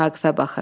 Vaqifə baxır.